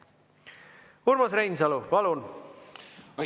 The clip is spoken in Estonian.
Urmas Reinsalu, palun!